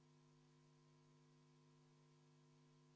Otsuse eelnõu 399 on vastu võetud.